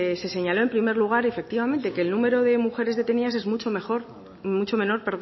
se señaló en primer lugar efectivamente que el número de mujeres detenidas es mucho menor